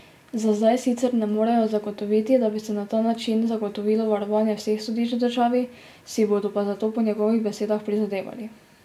Za zdaj sicer ne morejo zagotoviti, da bi se na ta način zagotovilo varovanje vseh sodišč v državi, si bodo pa za to po njegovih besedah prizadevali.